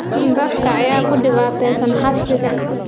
Dadka ayaa ku dhibaataysan xabsiga